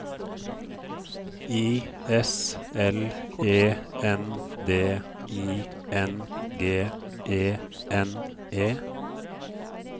I S L E N D I N G E N E